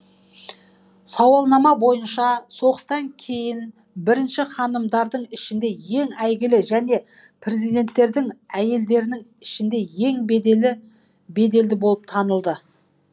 сауалнама бойынша соғыстан кейін бірінші ханымдардың ішінде ең әйгілі және президенттердің әйелдерінің ішінде ең беделді болып танылды